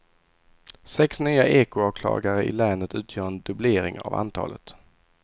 Sex nya ekoåklagare i länet utgör en dubblering av antalet.